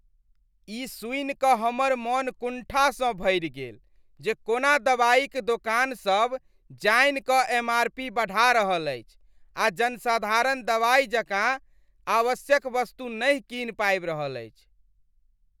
ई सुनि कऽ हमर मन कुण्ठासँ भरि गेल जे कोना दवाईक दोकानसभ जानि कऽ एमआरपी बढ़ा रहल अछि आ जनसाधारण दवाई जकाँ आवश्यक वस्तु नहि कीन पाबि रहल अछि।